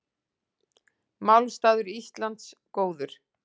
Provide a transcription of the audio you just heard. Málstaður Íslands góður